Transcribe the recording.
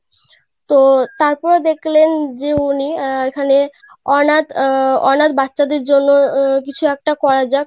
তো তারপরে দেখলেন যে উনি আহ এখানে অনাথ আহ অনাথ বাচ্চা দের জন্য আহ কিছু একটা করা যাক.